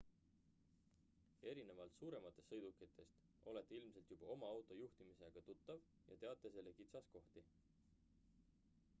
erinevalt suurematest sõidukitest olete ilmselt juba oma auto juhtimisega tuttav ja teate selle kitsaskohti